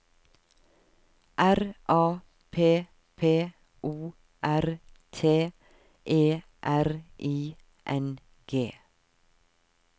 R A P P O R T E R I N G